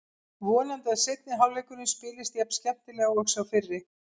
Vonandi að seinni hálfleikurinn spilist jafn skemmtilega og sá fyrri.